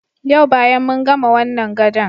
Yau bayan mun gama wannan gadon.